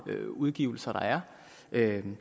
udgivelser der er